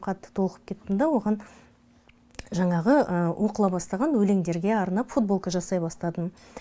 қатты толқып кеттім да оған жаңағы оқыла бастаған өлеңдерге арнап футболка жасай бастадым